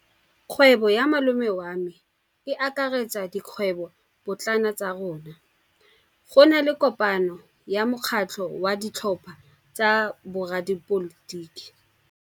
Kgwêbô ya malome wa me e akaretsa dikgwêbôpotlana tsa rona. Go na le kopanô ya mokgatlhô wa ditlhopha tsa boradipolotiki.